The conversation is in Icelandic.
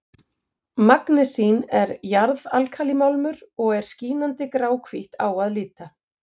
Magnesín er jarðalkalímálmur og er skínandi gráhvítt á að líta.